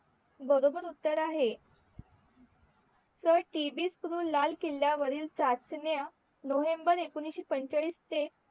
बरोबर उत्तर आहे लाल किल्ल्यावरील चाचण्या नोव्हेंबर एकोणीशे पंचाळीस ते